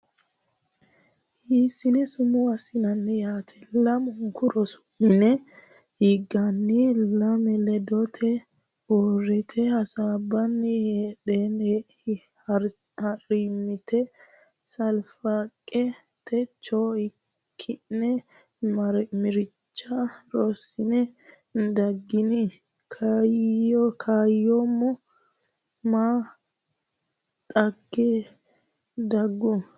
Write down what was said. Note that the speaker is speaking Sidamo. Hiissine sumuu assinanni yaatta? Lamunku rosu mininni higganni lami-ledote uurrite hasaabbanno Harmiite: Salfaaqo techo ki’ne maricho rossine daggini? Kaayyamo: Ma dhagge daggu?